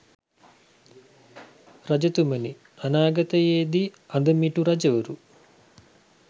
රජතුමනි, අනාගතයේදී අදමිටු රජවරු